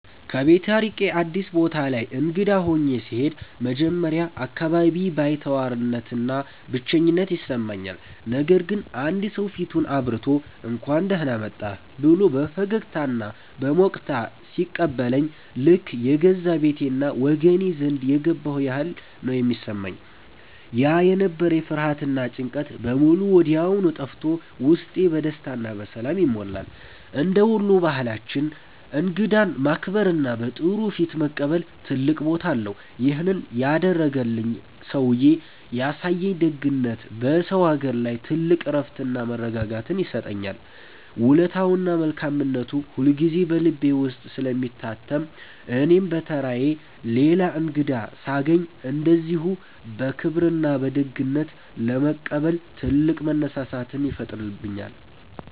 ከቤት ርቄ አዲስ ቦታ ላይ እንግዳ ሆኜ ስሄድ መጀመሪያ አካባቢ ባይተዋርነትና ብቸኝነት ይሰማኛል። ነገር ግን አንድ ሰው ፊቱን አብርቶ፣ «እንኳን ደህና መጣህ» ብሎ በፈገግታና በሞቅታ ሲቀበለኝ ልክ የገዛ ቤቴና ወገኔ ዘንድ የገባሁ ያህል ነው የሚሰማኝ። ያ የነበረኝ ፍርሃትና ጭንቀት በሙሉ ወዲያው ጠፍቶ ውስጤ በደስታና በሰላም ይሞላል። እንደ ወሎ ባህላችን እንግዳን ማክበርና በጥሩ ፊት መቀበል ትልቅ ቦታ አለው። ይሄን ያደረገልኝ ሰውዬ ያሳየኝ ደግነት በሰው አገር ላይ ትልቅ እረፍትና መረጋጋትን ይሰጠኛል። ውለታውና መልካምነቱ ሁልጊዜ በልቤ ውስጥ ስለሚታተም እኔም በተራዬ ሌላ እንግዳ ሳገኝ እንደዚሁ በክብርና በደግነት ለመቀበል ትልቅ መነሳሳትን ይፈጥርብኛል።